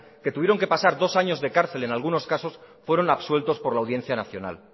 que tuvieron que pasar dos años de cárcel en algunos casos fueron absueltos por la audiencia nacional